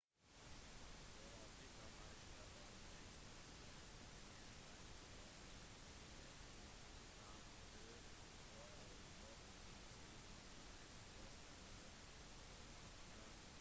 sør-afrika har slått all blacks new zealand i en rugbyforening tri-nations-kamp på royal bafokeng-stadion i rustenburg sør-afrika